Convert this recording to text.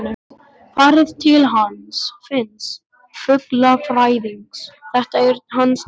Farið til hans Finns fuglafræðings, þetta er hans deild.